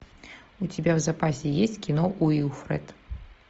у тебя в запасе есть кино уилфред